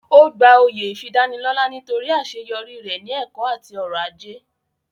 Ó gba oyè ìfidánilọ́lá nítorí àṣeyọrí rẹ̀ ní ẹ̀kọ́ àti ọrọ̀ ajé